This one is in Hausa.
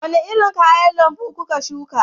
Wani irin kayan lambu kuka shuka